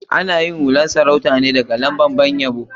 Ana yin hular sarauta ne daga lambar ban yabo.